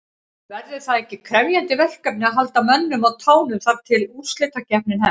Verður það ekki krefjandi verkefni að halda mönnum á tánum þar til að úrslitakeppnin hefst?